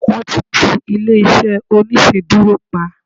wan ti ti ilé iṣẹ oniṣeduro pa